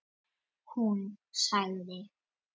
Hún sagði